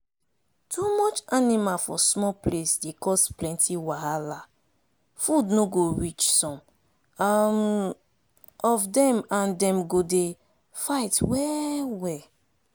too much animal for small place dey cause plenty wahala food no go reach some um of dem and dem go dey fight well well.